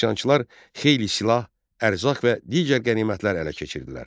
Üsyançılar xeyli silah, ərzaq və digər qənimətlər ələ keçirdilər.